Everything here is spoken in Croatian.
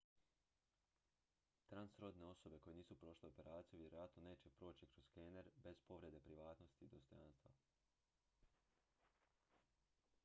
transrodne osobe koje nisu prošle operaciju vjerojatno neće proći kroz skener bez povrede privatnosti i dostojanstva